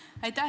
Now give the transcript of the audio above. Aitäh!